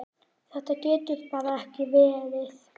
Þetta getur bara ekki verið.